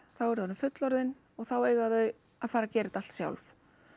þá eru þau orðin fullorðin og þá eiga þau að fara að gera þetta allt sjálf